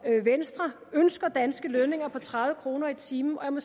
venstre ønsker danske lønninger på tredive kroner i timen og jeg må